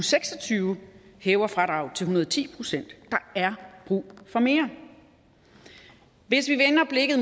seks og tyve hæver fradraget til en hundrede og ti procent der er brug for mere hvis vi vender blikket